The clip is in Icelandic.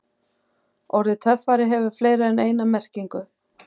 Orðið töffari hefur fleiri en eina merkingu.